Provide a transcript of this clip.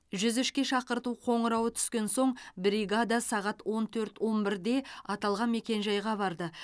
жүз үшке шақырту қоңырауы түскен соң бригада сағат онт төрт он бірде аталған мекенжайға барды